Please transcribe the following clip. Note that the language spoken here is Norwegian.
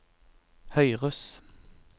høyres